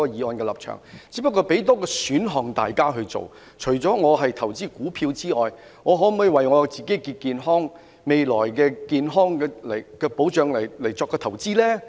我只不過是給大家多一個選項，我們除了投資股票外，可否為自己的健康或未來的健康保障作出投資呢？